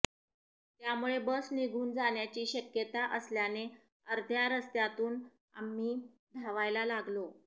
त्यामुळे बस निघून जाण्याची शक्यता असल्याने अर्ध्या रस्त्यातून आम्ही धावायला लागलो